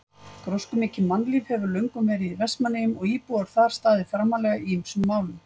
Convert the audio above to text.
Gróskumikið mannlíf hefur löngum verið í Vestmannaeyjum og íbúar þar staðið framarlega í ýmsum málum.